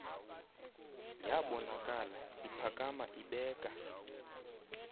yabonakala iphakama ibeka